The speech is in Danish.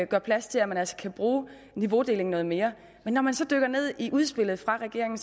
gør plads til at man altså kan bruge niveaudeling noget mere men når man så dykker ned i udspillet fra regeringen